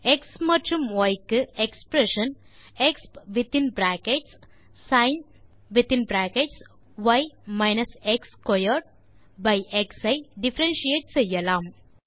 X மற்றும் y க்கு expression expஎக்ஸ் ஐ டிஃபரன்ஷியேட் செய்யலாம்